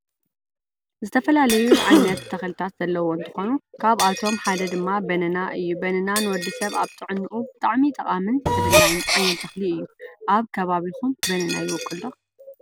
ዝተፈላለዩ ዓይነት ተክልታት ዘለዎ እንትኮኑ ካብአቶም ሓደ ድማ በነና እዩ በነና ንወድሰብ አብ ጥዕኑኡ ብጣዕሚ ጠቃምን ተደላይን ዓይነት ተክሊ እዩ። አብ ከባቢኩም በነና ይቦቅል ዶ?